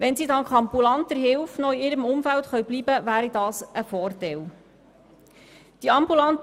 Wenn sie dank ambulanter Hilfe in ihrem Umfeld bleiben kann, ist das ein Vorteil.